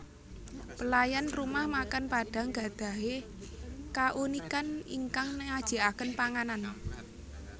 Pelayan rumah makan Padang gadahi kaunikan ingkang nyajiaken panganan